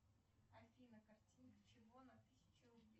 афина картинка чего на тысяче рублей